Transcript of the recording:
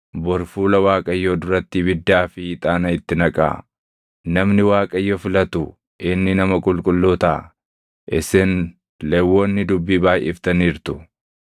bori fuula Waaqayyoo duratti ibiddaa fi ixaana itti naqaa. Namni Waaqayyo filatu inni nama qulqulluu taʼa. Isin Lewwonni dubbii baayʼiftaniirtu!”